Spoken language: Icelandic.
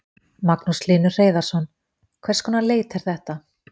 Magnús Hlynur Hreiðarsson: Hvers konar leit er þetta?